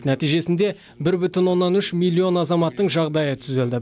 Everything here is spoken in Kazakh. нәтижесінде бір бүтін оннан үш миллион азаматтың жағдайы түзелді